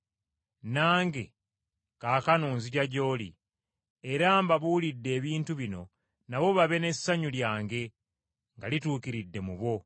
“Nange kaakano nzija gy’oli, era mbabuulidde ebintu bino nabo babe n’essanyu lyange nga lituukiridde mu bo.